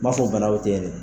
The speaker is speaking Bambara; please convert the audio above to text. N m'a fɔ bana dɔ tɛ ye dɛ.